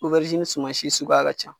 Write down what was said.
suman si sukuya ka ca.